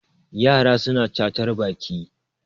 yara suna cacar Baki